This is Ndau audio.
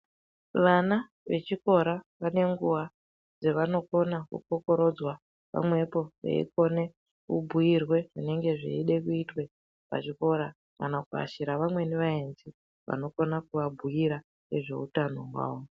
Vana vechikora vane nguwa dzavanokona kukokorodzwa pamwepo veikone kubhuirwe zvinenge zveide kuitwe pazvikora kana kuashira amweni aenzi anokone kuabhuira ngezvutano hwavo.